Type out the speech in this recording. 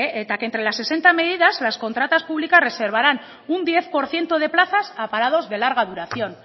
que entre las sesenta medidas las contratas públicas reservarán un diez por ciento de plazas a parados de larga duración